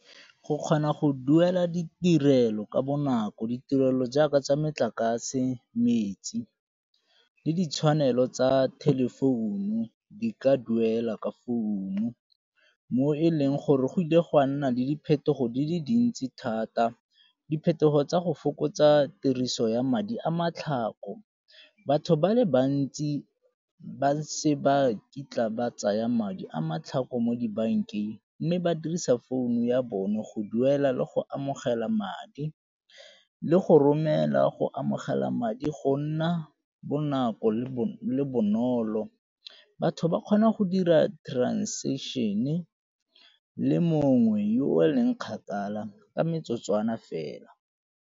Go kgona go duela ditirelo ka bonako, ditirelo jaaka tsa metlakase, metsi le ditshwanelo tsa telephone-u di ka duela ka founu mo e leng gore go ile ga nna le diphetogo di le dintsi thata. Diphetogo tsa go fokotsa tiriso ya madi a matlhako. Batho ba le bantsi ba se ba kitla ba tsaya madi a matlhako mo dibankeng mme ba dirisa founu ya bone go duela le go amogela madi, le go romela go amogela madi, go nna bonako le bonolo. Batho ba kgona go dira transaction le mongwe yo o leng kgakala ka metsotswana fela.